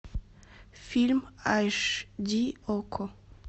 фильм аш ди окко